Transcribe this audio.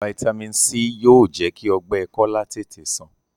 Vitamins c yóò jẹ kí ogbè kola tètè sàn.